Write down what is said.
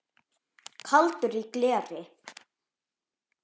Kaldur í gleri